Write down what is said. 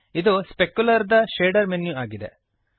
ಇದು ಸ್ಪೆಕ್ಯುಲರ್ ದ shader menu ಆಗಿದೆ